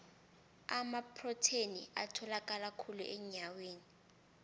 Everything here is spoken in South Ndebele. amaprotheni atholakala khulu enyameni